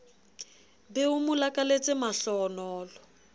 be o mo lakaletse mahlohonolo